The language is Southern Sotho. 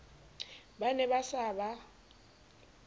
ba ne ba sa ba